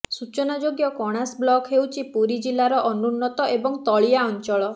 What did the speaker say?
ସୂଚନାଯୋଗ୍ୟ କଣାସ ବ୍ଲକ୍ ହେଉଛି ପୁରୀ ଜିଲ୍ଲାର ଅନୁନ୍ନତ ଏବଂ ତଳିଆ ଅଞ୍ଚଳ